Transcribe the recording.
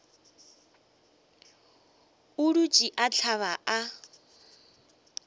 a dutše a hlaba a